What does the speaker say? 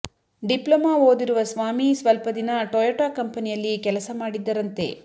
diploma ಓದಿರುವ ಸ್ವಾಮಿ ಸ್ವಲ್ಪ ದಿನ ಟೊಯೊಟ ಕಂಪನಿಯಲ್ಲಿ ಕೆಲಸ ಮಾಡಿದ್ದರಂತೆ